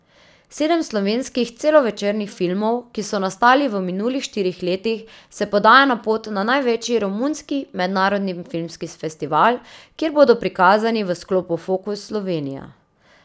Sedem slovenskih celovečernih filmov, ki so nastali v minulih štirih letih, se podaja na pot na največji romunski mednarodni filmski festival, kjer bodo prikazani v sklopu Fokus Slovenija.